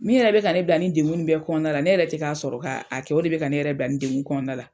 Min yɛrɛ bɛ ka ne bila ni degun nin bɛɛ kɔnɔna la ne yɛrɛ tɛ k'a sɔrɔ k'a a kɛ o de bɛ ka ne yɛrɛ bila nin degun kɔnɔna la.